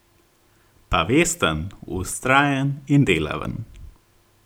Pa vesten, vztrajen in delaven.